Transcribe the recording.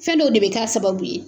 Fɛn dɔw de bɛ kɛ a sababu ye.